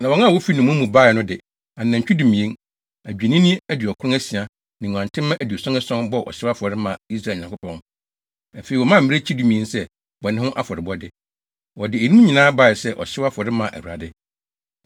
Na wɔn a wofi nnommum mu bae no de anantwi dumien, adwennini aduɔkron asia ne nguantenmma aduɔson ason, bɔɔ ɔhyew afɔre, maa Israel Nyankopɔn. Afei, wɔmaa mmirekyi dumien sɛ bɔne ho afɔrebɔde. Wɔde eyinom nyinaa bae sɛ ɔhyew afɔre maa Awurade.